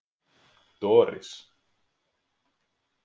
Doris